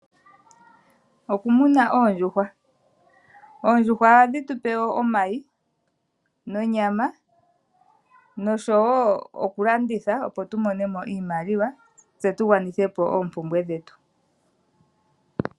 Okumuna oondjuhwa Oondjuhwa ohadhi tu pe omayi nonyama noshowo okulanditha, opo tu mone mo iimaliwa tse tu gwanithe po oompumbwe dhetu.